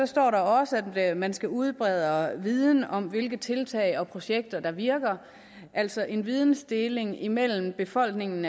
står også at man skal udbrede viden om hvilke tiltag og projekter der virker altså en videndeling imellem befolkningen